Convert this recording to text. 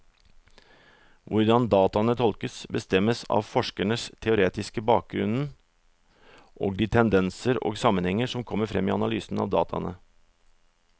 Hvordan dataene tolkes, bestemmes av forskerens teoretiske bakgrunnen og de tendenser og sammenhenger som kommer frem i analysen av dataene.